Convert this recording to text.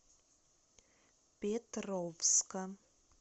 петровска